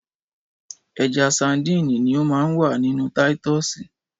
Ẹja sadínì ni o ma n wà ninú táítosì.